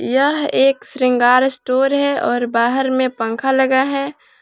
यह एक श्रृंगार स्टोर है। और बाहर में पंख लगा है।